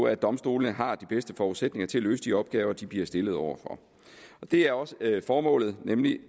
at domstolene har de bedste forudsætninger til at løse de opgaver de bliver stillet over for det er også formålet nemlig